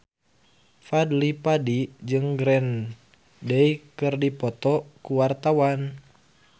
Fadly Padi jeung Green Day keur dipoto ku wartawan